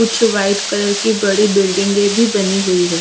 कुछ white colour की बड़ी बिल्डिंगें भी बनी हुई है।